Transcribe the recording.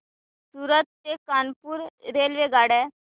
सूरत ते कानपुर रेल्वेगाड्या